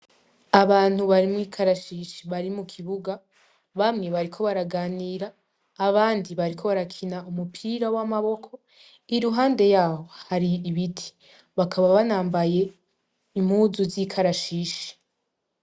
Abantu bari mw'ikarashishi bari mukibuga bamwe bariko baraganira abandi bariko barakina umupira w'amaboko. Iruhande yaho har'ibiti. Bakaba banambaye impuzu z'ikarashishi.